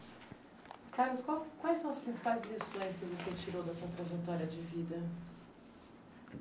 Carlos, qual quais são as principais lições que você tirou da sua trajetória de vida?